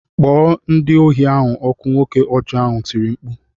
Kpọọ ndị ohi ahụ ọkụ! Nwoke ọjọ ahụ tiri mkpu